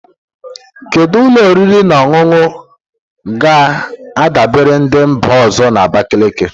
Kedu ụlọ oriri na ọṅụṅụ ga-adabara ndị mba ọzọ na Abakaliki?